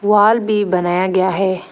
वाल भी बनाया गया है।